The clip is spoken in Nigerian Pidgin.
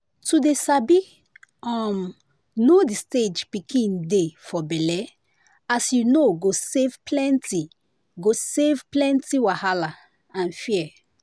to dey sabi um know the stage pikin dey for belle as you know go save plenty go save plenty wahala and fear.